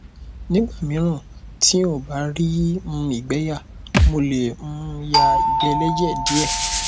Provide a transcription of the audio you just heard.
nígbà míràn tí n ò bá rí um ìgbé yà mo lè um ya ìgbẹ ẹlẹjẹ díẹ